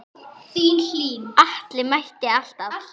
Atli mætti alltaf.